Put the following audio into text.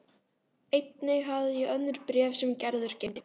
Einnig hafði ég önnur bréf sem Gerður geymdi.